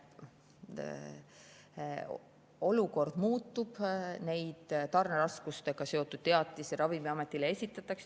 Olukord muutub ja neid tarneraskustega seotud teatisi Ravimiametile esitatakse.